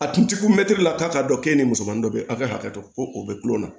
A tun ti ku mɛtiri la k'a k'a dɔ k'e ni musomanin dɔ bɛ ye aw ka hakɛ to ko o bɛ kulonkɛ la